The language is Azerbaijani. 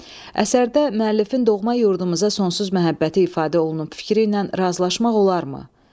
Əsərdə müəllifin doğma yurdumuza sonsuz məhəbbəti ifadə olunub fikriylə razılaşmaq olarmı?